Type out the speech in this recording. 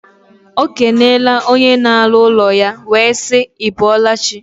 O kenele onye na alu ulo ya, we sii: I bolachi?